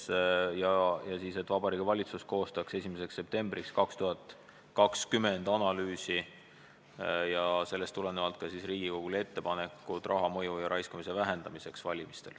Selle ettepaneku kohaselt peaks Vabariigi Valitsus koostama 1. septembriks 2020 analüüsi ja selle põhjal esitama Riigikogule ettepanekud valimistel kasutatava raha mõju ja raiskamise vähendamiseks.